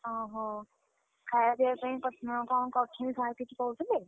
ଓହୋଃ, ଖାଇବା ପିଇବା ପାଇଁ personal କଣ କରୁଛନ୍ତି sir କିଛି କହୁଥିଲେ?